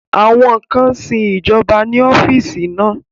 Àwọn kan sin ìjọba ní ọ́fíìsì náà